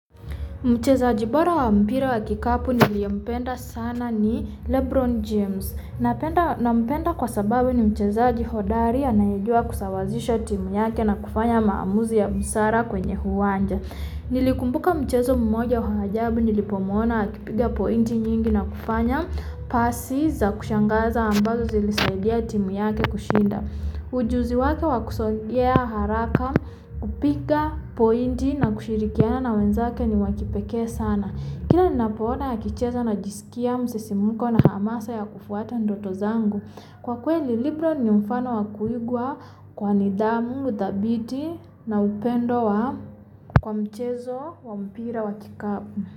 Mchezaji bora wa mpira wa kikapu niliyempenda sana ni Lebron James. Na mpenda kwa sababu ni mchezaji hodari anayejua kusawazisha timuyake na kufanya maamuzu ya msara kwenye uwanja. Nilikumbuka mchezo mmoja huhajabu ni lipo mwona akipiga pointi nyingi na kufanya. Pasi za kushangaza ambazo zilisaidia timu yake kushinda. Ujuziwake wa kusogea haraka, kupiga pointi na kushirikiana na wenzake ni wakipeke sana. Kila ninapoona akicheza na jisikia msesimunko na hamasa ya kufuwata ndotozangu. Kwa kweli ni Lebron ni mfano wa kuigwa kwa nidhamu dhabiti na upenda kwa mpira wa kikapu.